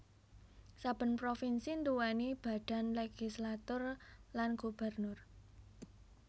Saben provinsi nduwèni badan legislatur lan gubernur